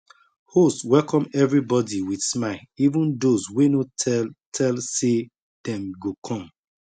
host welcome everybody with smile even those wey no tell tell say dem go come